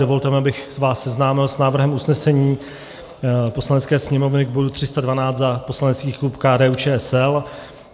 Dovolte mi, abych vás seznámil s návrhem usnesení Poslanecké sněmovny k bodu 312 za poslanecký klub KDU-ČSL.